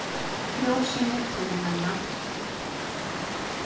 Frjósemi túnanna sem komin er til vegna langvarandi ræktunar býr henni kjöraðstæður.